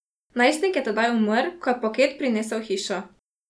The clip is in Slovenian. Najstnik je tedaj umrl, ko je paket prinesel v hišo.